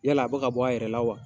Yala a bɛ ka bɔ, a yɛrɛ la wa ?